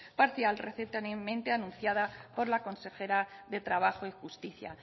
parcial recientemente anunciada por la consejera de trabajo y justicia